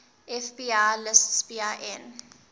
fbi lists bin